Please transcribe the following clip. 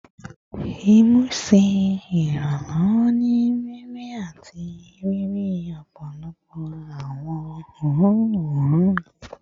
Imu ṣe iranlọwọ ni mimi ati ni iriri ọpọlọpọ awọn oorun oorun